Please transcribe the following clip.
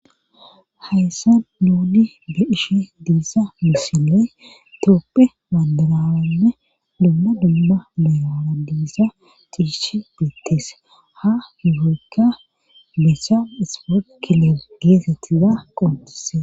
Hayssa duudi be ishe diisa misinee tooppe maandalaane dumma dumma meerana diisa ciishe dittees ha yuhoykka missa ispo kiler geesettiza qontise.